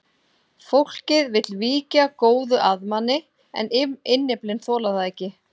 Fólkið vill víkja góðu að manni en innyflin þola það ekki.